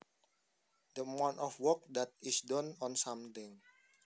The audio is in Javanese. The amount of work that is done on something